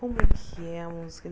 Como é que é a música?